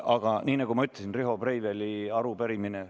Aga nii nagu ma ütlesin, Riho Breiveli arupärimine ...